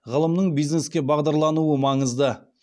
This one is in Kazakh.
ғылымның бизнеске бағдарлануы маңызды